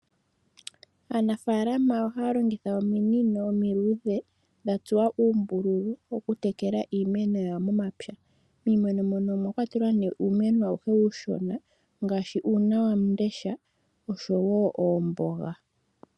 Aanafalama ohaa longitha ominono omiiludhe dhatsuwa uumbululu okutekela iimeno yawo momapya. Iimeno muno omwakwatelwa nee uumeno awuhe uushona ngaashi uuna wamundesha oshowo oomboga.